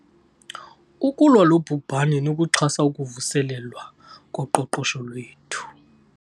Ukulwa lo bhubhane nokuxhasa ukuvuselelwa koqoqosho lwethu.